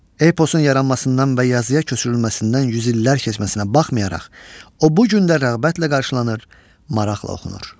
Eposun yaranmasından və yazıya köçürülməsindən yüz illər keçməsinə baxmayaraq, o bu gün də rəğbətlə qarşılanır, maraqla oxunur.